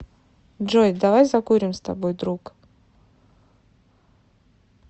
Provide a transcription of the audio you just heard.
джой давай закурим с тобой друг